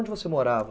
Onde você morava?